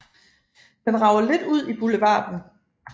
Den rager lidt ud i boulevarden